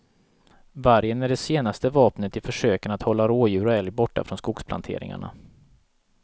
Vargen är det senaste vapnet i försöken att hålla rådjur och älg borta från skogsplanteringarna.